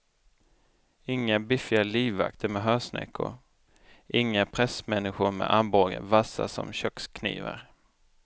Inga biffiga livvakter med hörsnäckor, inga pressmänniskor med armbågar vassa som köksknivar.